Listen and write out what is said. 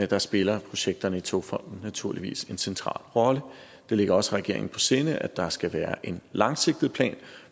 der spiller projekterne i togfonden dk naturligvis en central rolle det ligger også regeringen på sinde at der skal være en langsigtet plan